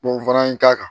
n fana ye n k'a kan